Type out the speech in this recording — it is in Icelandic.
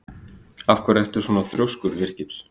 Af hverju ertu svona þrjóskur, Virgill?